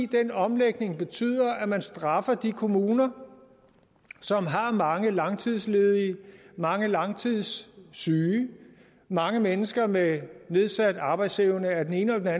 den omlægning betyder at man straffer de kommuner som har mange langtidsledige mange langtidssyge mange mennesker med nedsat arbejdsevne af den ene eller